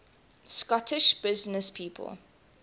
scottish businesspeople